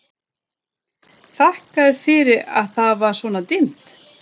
Þakkaði fyrir að það var svona dimmt.